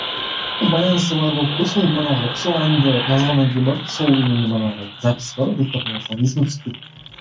байланысы бар болып қой сол манағы сол әнді жазғаннан кейін барып сол именно манағы запись бар ғой диктофонда сол есіме түсіп кетті